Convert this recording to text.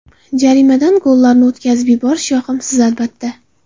Jarimadan gollarni o‘tkazib yuborish yoqimsiz, albatta.